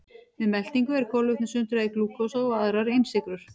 Við meltingu er kolvetnum sundrað í glúkósa og aðrar einsykrur.